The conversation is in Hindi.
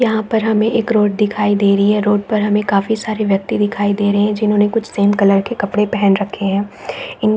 यहाँ पर हमें एक रोड दिखाई दे रही है रोड पर हमें काफी सारे व्यक्ति दिखाई दे रहें हें जिन्होंने कुछ सेम_कलर के कपड़े पहेन रखे हैं इन --